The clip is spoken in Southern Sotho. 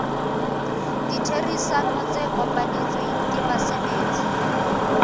ditherisano tse kopanetsweng ke basebetsi